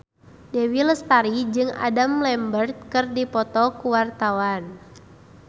Dewi Lestari jeung Adam Lambert keur dipoto ku wartawan